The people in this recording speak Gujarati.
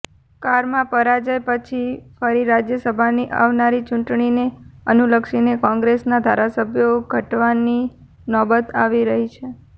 કારમા પરાજય પછી ફરી રાજ્યસભાની આવનારી ચુંટણીને અનુલક્ષીને કોંગ્રેસના ધારાસભ્યો ઘટવાની નોબત આવી રહી છે